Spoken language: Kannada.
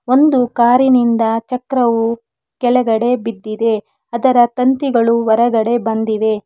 ಒಂದು ಕಾರಿನಿಂದ ಚಕ್ರವು ಕೆಳಗಡೆ ಬಿದ್ದಿದೆ ಅದರ ತಂತಿಗಳು ಹೊರಗಡೆ ಬಂದಿವೆ.